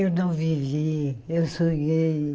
Eu não vivi, eu sonhei.